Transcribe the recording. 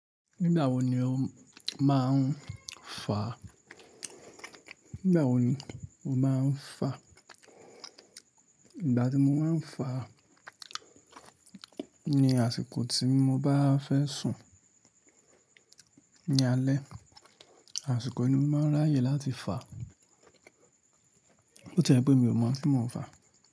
Nígbà wo ni o máa ń fa? Nígbà tí mo máa ń fa ni àsìkò tí mo bá fẹ́ sùn ní alẹ́, àsìkò inú máa ń ráyè láti fa. Ó jẹ́ pé mi ò mọ̀ kí mo fa.